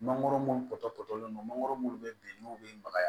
Mangoro munnu kɔtɔtɔlen don mangoro munnu bɛ ben n'u be magaya